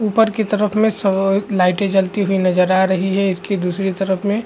ऊपर की तरफ में सआ लाइटे जलती हुई नज़र आ रही है इसकी दूसरी तरफ में --